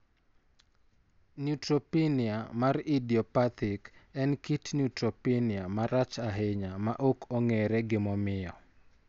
Neutropenia mar idiopathic en kit neutropenia marach ahinya ma ok ong'ere gimomiyo.